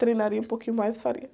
Treinaria um pouquinho mais e faria.